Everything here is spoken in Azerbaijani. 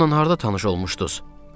Ondan harda tanış olmuşduz?